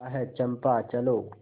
आह चंपा चलो